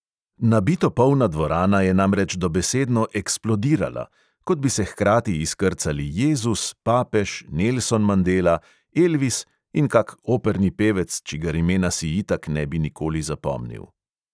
Nabito polna dvorana je namreč dobesedno eksplodirala – kot bi se hkrati izkrcali jezus, papež, nelson mandela, elvis in kak operni pevec, čigar imena si itak ne bi nikoli zapomnil.